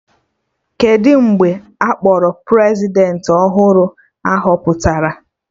Kedụ mgbe a kpọrọ Prezidentị ọhụrụ a họpụtara?